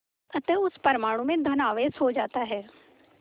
अतः उस परमाणु में धन आवेश हो जाता है